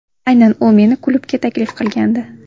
Aynan u meni klubga taklif qilgandi.